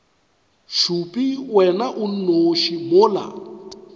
šupe wena o nnoši mola